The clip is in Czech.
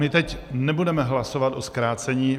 My teď nebudeme hlasovat o zkrácení.